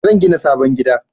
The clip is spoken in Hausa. Zan gina sabon gida